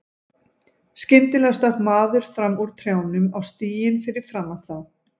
Skyndilega stökk maður fram úr trjánum á stíginn fyrir framan þá.